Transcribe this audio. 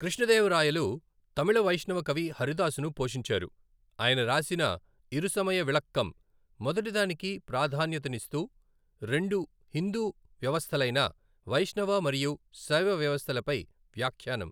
కృష్ణదేవరాయలు తమిళ వైష్ణవ కవి హరిదాసును పోషించారు, ఆయన రాసిన ఇరుసమయ విళక్కం, మొదటిదానికి ప్రాధాన్యతనిస్తూ, రెండు హిందూ వ్యవస్థలైన వైష్ణవ మరియు శైవ వ్యవస్థలపై వ్యాఖ్యానం.